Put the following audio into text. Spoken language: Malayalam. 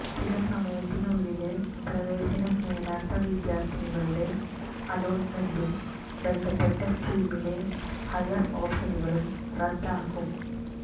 നിശ്ചിതസമയത്തിനുള്ളില് പ്രവേശനം നേടാത്ത വിദ്യാര്ഥികളുടെ അലോട്ടുമെന്റും ബന്ധപ്പെട്ട സ്ട്രീമിലെ ഹയര് ഓപ്ഷനുകളും റദ്ദാകും